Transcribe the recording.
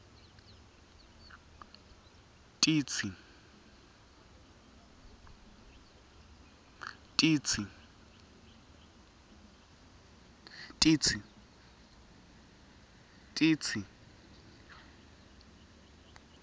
titsi